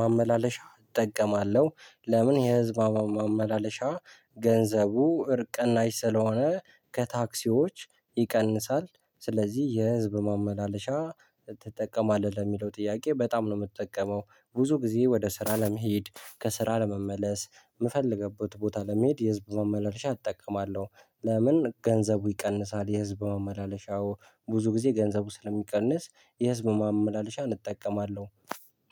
ማመላለሻ እጠቀማለሁ ለምን የህዝብ ማመላለሻ ገንዘቡ እርካ ቅናሽ ስለሆነ ከታክሲዎች ይቀንሳል ስለዚህ የህዝብ ማመላለሻ ትጠቀማለህ? ለሚለው ጥያቄ በጣም ነው የምትጠቀመው ብዙ ጊዜ ወደ ስራ ለመሄድ ከስራ ለመመለስ የምፈልግበት ቦታ ለመሄድ የህዝብ መመላለሻ እጠቀማለሁ ለምን ገንዘቡ ይቀንሳል የህዝብ መመላለሻው ብዙ ጊዜ ገንዘቡ ስለሚቀንስ የህዝብ ማመላለሻ እጠቀማለሁ